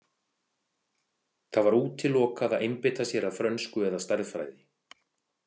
Það var útilokað að einbeita sér að frönsku eða stærðfræði.